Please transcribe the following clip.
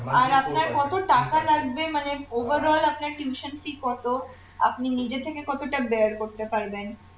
আর আপনার কত টাকা লাগবে মানে overall আপনার tuition fee কতো আপনি নিজের থেকে কতোটা bear করতে পারবেন